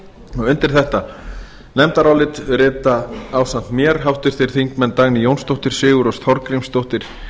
þingskjali undir þetta nefndarálit rita ásamt mér háttvirtir þingmenn dagný jónsdóttir sigurrós þorgrímsdóttir